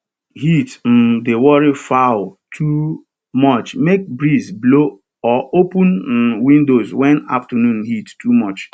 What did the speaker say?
heat um dey worry fowl too muchmake breeze blow or open um windows when afternoon heat too much